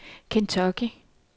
Kentucky